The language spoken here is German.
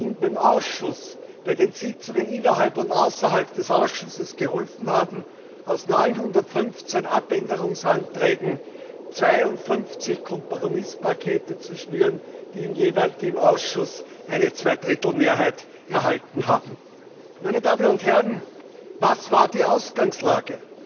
im Ausschuss, bei den Sitzungen innerhalb und außerhalb des Ausschusses geholfen haben, aus 915 Änderungsanträgen 52 Kompromisspakete zu schnüren, die im Ausschuss eine Zwei Drittel Mehrheit erhalten haben. Meine Damen und Herren, was war die Ausgangslage?